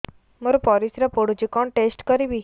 ମୋର ପରିସ୍ରା ପୋଡୁଛି କଣ ଟେଷ୍ଟ କରିବି